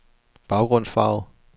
baggrundsfarve